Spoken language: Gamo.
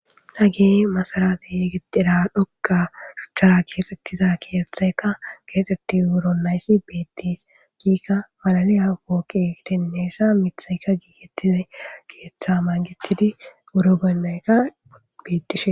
Hage masarabe gixxira dhoqqa shuchchara keexeththida keeththaykka keexeththi woronayzi beeththes; hegeka malaliya pooqee gidenesa miththaykka giigeththidi keeththaa mangeththidi qorobolleyka qoyththishe.